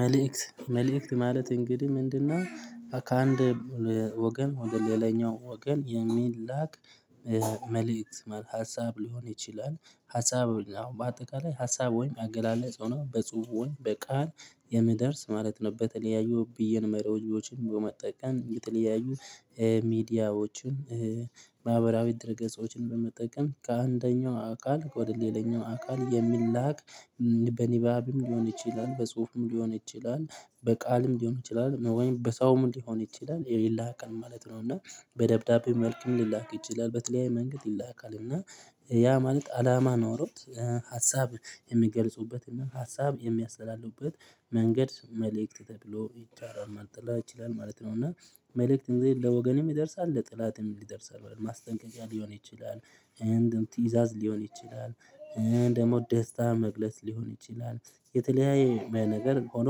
መልእክት መልእክት ማለት እንግዲህ ምንድነው ከአንድ ወገን ወደ ሌላኛው ወገን የሚላቅ መልእክት ማለት ሀሳብ ሊሆን ይችላል ሀሳብ አዎ በአጠቃላይ ሀሳብ ወይም አገላለጽ ሆኖ በጽሁፉ ይሁን በቃል የምደርስ ማለት ነው በተለያዩ ብዬን መርሆችን በመጠቀም የተለያዩ ሚዲያዎችን ማህበራዊ ድርገጾችን በመጠቀም ከአንደኛው አካል ወደ ሌላኛው አካል የሚላክ በንባብም ሊሆን ይችላል በጽሁፍም ሊሆን ይችላል በቃልም ሊሆን ይችላል መወየንም በሰውም ሊሆን ይችላል ይላክል ማለት ነውና በደብዳቤ መልኩም ሊላክ ይችላል በተለያዩ መንገድ ይላካል እና ያ ማለት አላማ ኖሮት ሀሳብ የሚገልጹበትና ሀሳብ የሚያስተላልፉበት መንገድ መልእክት ተብሎ ይቻላል ማለት ይችላል ማለት ነው እና መልእክትን ለወገንም ይደርሳል ለጥላትም ይደርሳል ማስጠንቀቂያ ሊሆን ይችላል እንደውም ትይዛዝ ሊሆን ይችላል። ደግሞ ደስታ መግለጽ ሊሆን ይችላል የተለያየ ነገር ሆኖ